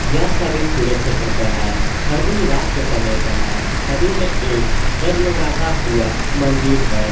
यह छवि खुले क्षेत्र का है छवि रात के समय का है छवि में एक जगमगाता हुआ मंदिर है।